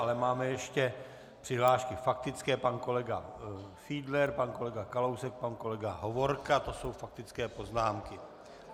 Ale máme ještě přihlášky faktické - pan kolega Fiedler, pan kolega Kalousek, pan kolega Hovorka, to jsou faktické poznámky.